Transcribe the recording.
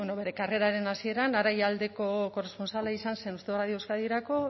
ba bueno bere karreraren hasieran araialdeko korrespontsala izan zen uste dut radio euskadirako